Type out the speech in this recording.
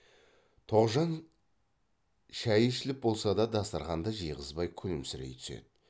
тоғжан шай ішіліп болса да дастарқанды жиғызбай күлімсірей түседі